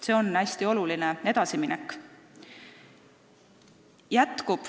See on hästi oluline edasiminek.